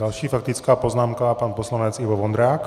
Další faktická poznámka - pan poslanec Ivo Vondrák.